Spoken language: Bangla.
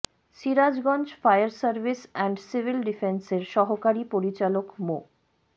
Sirajganj fire service and civil ডিফেন্সের সহকারী পরিচালক মো